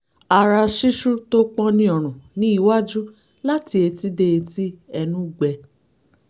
ara ṣíṣú tó pọ́n ní ọrùn ní iwájú láti etí dé etí ẹnú gbẹ